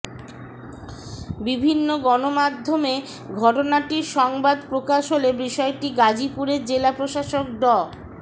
বিভিন্ন গণমাধ্যমে ঘটনাটির সংবাদ প্রকাশ হলে বিষয়টি গাজীপুরের জেলা প্রশাসক ড